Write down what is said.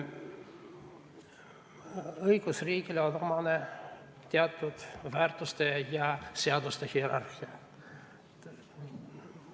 Õigusriigile on omane teatud väärtuste ja seaduste hierarhia.